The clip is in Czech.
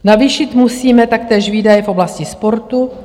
Navýšit musíme taktéž výdaje v oblasti sportu.